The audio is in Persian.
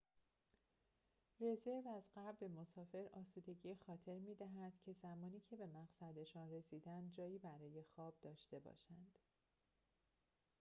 رزرو از قبل به مسافر آسودگی خاطر می‌دهد که زمانی که به مقصدشان رسیدند جایی برای خواب داشته باشند